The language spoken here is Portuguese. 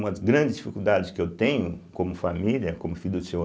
Uma das grandes dificuldades que eu tenho como família, como filho do Seu